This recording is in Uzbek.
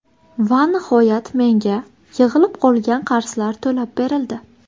Va nihoyat menga yig‘ilib qolgan qarzlar to‘lab berildi.